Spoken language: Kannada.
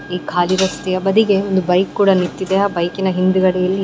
ಈ ಖಾಲಿ ರಸ್ತೆಯ ಬದಿಗೆ ಒಂದು ಬೈಕ್ ಕೂಡ ನಿಂತಿದೆ ಆ ಬೈಕ್ ನ ಹಿಂದುಗಡೆಯಲ್ಲಿ --